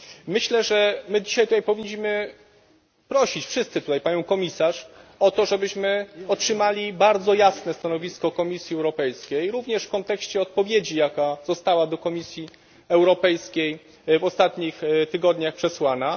Myślę, że my dzisiaj tutaj powinniśmy prosić wszyscy tutaj Panią Komisarz o to, żebyśmy otrzymali bardzo jasne stanowisko Komisji Europejskiej, również w kontekście odpowiedzi, jaka została do Komisji Europejskiej w ostatnich tygodniach przesłana.